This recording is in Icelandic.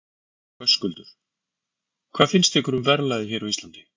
Höskuldur: Hvað finnst ykkur um verðlagið hér á Íslandi?